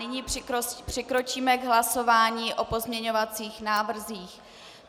Nyní přikročíme k hlasování o pozměňovacích návrzích.